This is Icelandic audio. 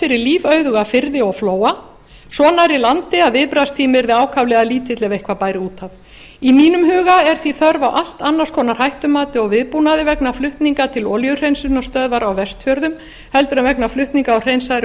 fyrir lífauðuga firði og flóa svo nærri landi að viðbragðstími yrði ákaflega lítill ef eitthvað bæri út af í mínum huga er því þörf á allt annars konar hættumati og viðbúnaði vegna flutninga til olíuhreinsunarstöðvar á vestfjörðum en vegna flutninga á hreinsaðri